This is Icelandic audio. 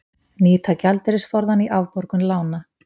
Nýta gjaldeyrisforðann í afborgun lána